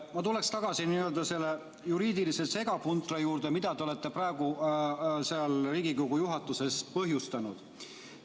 Ma tuleksin tagasi selle n-ö juriidilise segapuntra juurde, mida te olete praegu seal Riigikogu juhatuses põhjustanud.